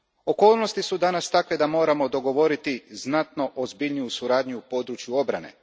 Okolnosti su danas takve da moramo dogovoriti znatno ozbiljniju suradnju u području obrane.